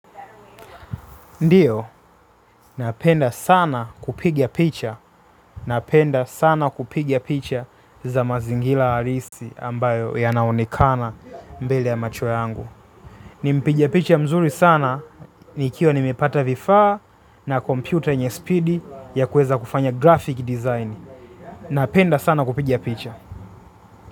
Ndiyo, napenda sana kupigia picha. Napenda sana kupigia picha za mazingila harisi ambayo yanaonekana mbele ya macho yangu. Nimpige picha mzuri sana nikiwa nimepata vifaa na computer yenye speed ya kueza kufanya graphic design. Napenda sana kupiga picha.